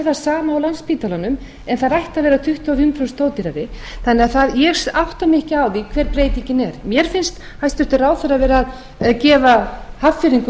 og á landspítalanum en þær ættu að vera tuttugu og fimm prósent ódýrari þannig að ég átta mig ekki á því hver breytingin er mér finnst hæstvirtur ráðherra vera að gefa hafnfirðingum